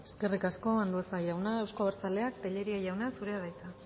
eskerrik asko andueza jauna euzko abertzaleak tellería jauna zurea da hitza